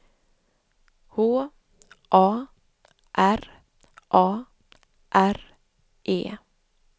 H A R A R E